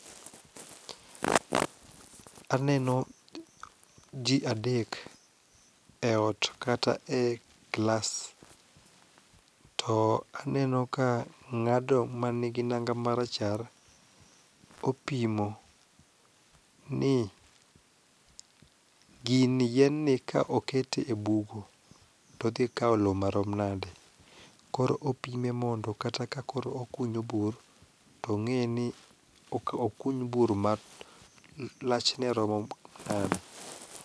Aneno ji adek e ot kata e klas to aneno ka ng'ado manigi nanga marachar opimo ni gini yienni ka oket e bugo to odhikawo lo marom nade, koro opime mondo kata ka koro okunyo bur tong'e ni okuny bur malachne romo nade.